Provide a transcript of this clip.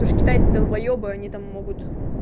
то есть китайцы долбоебы они там могут